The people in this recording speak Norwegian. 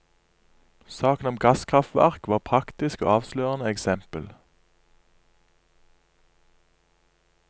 Saken om gasskraftverk var praktisk og avslørende eksempel.